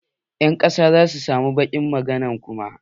Ƴan ƙasa zasu samu bakin magana kuma.